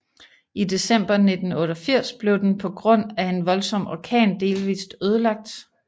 I december 1988 blev den på grund af en voldsom orkan delvist ødelagt